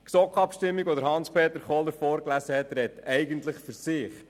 Das GSoK-Abstimmungsresultat, das Hans-Peter Kohler vorgelesen hat, spricht eigentlich für sich: